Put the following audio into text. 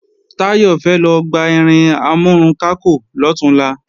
Táyọ̀ fẹ́ lọ gba irin amúrunkákò lọ̀túnla